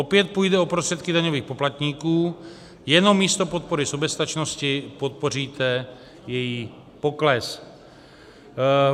Opět půjde o prostředky daňových poplatníků, jenom místo podpory soběstačnosti podpoříte její pokles.